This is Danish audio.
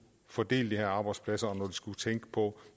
fordele de her arbejdspladser og når de skulle tænke på